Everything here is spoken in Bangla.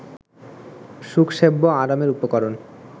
সুখসেব্য আরামের উপকরণ